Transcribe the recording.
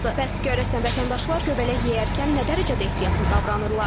Bəs görəsən, vətəndaşlar göbələk yeyərkən nə dərəcədə ehtiyatlı davranırlar?